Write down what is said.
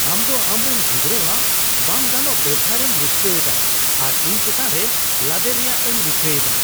ᱟᱢ ᱫᱚ ᱟᱢᱨᱮᱱ ᱜᱤᱫᱽᱨᱟᱣᱟᱜ ᱵᱟᱝ ᱜᱟᱱᱚᱜ ᱵᱮᱣᱦᱟᱨᱮᱢ ᱨᱩᱠᱷᱤᱭᱟᱹᱣ ᱮᱫᱟ ᱟᱨ ᱤᱧ ᱪᱮᱛᱟᱱ ᱨᱮ ᱞᱟᱫᱮ ᱨᱮᱭᱟᱜ ᱮᱢ ᱨᱤᱠᱟᱹ ᱮᱫᱟ ᱾